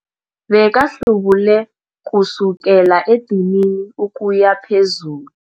Bekahlubule kusukela edinini ukuya phezulu.